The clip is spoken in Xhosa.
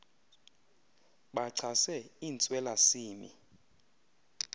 bachase intswela simi